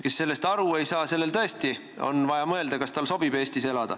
Kes sellest aru ei saa, sellel tõesti on vaja mõelda, kas tal sobib Eestis elada.